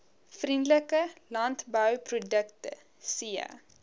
vriendelike landbouprodukte c